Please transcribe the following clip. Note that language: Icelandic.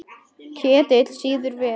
Ketill sýður vel.